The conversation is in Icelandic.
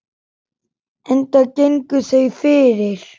Enda gengu þau fyrir.